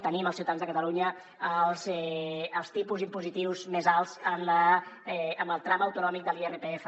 tenim els ciutadans de catalunya els tipus impositius més alts en el tram autonòmic de l’irpf